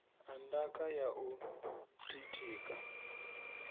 ha ndaka ya u ḓitika